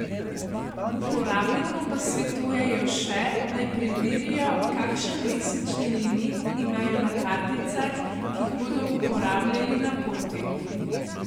Uporabnikom pa svetujejo še, naj preverijo, kakšen mesečni limit imajo na karticah, ki jih bodo uporabljali na poti.